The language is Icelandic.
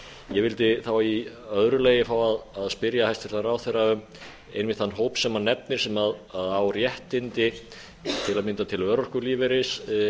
ég vildi þá í öðru lagi fá að spyrja hæstvirtan ráðherra um einmitt þann hóp sem hann nefnir sem á réttindi til að mynda til örorkulífeyris